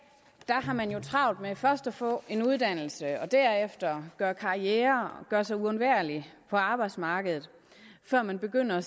har man jo travlt med først at få en uddannelse og derefter gøre karriere og gøre sig uundværlig på arbejdsmarkedet før man begynder at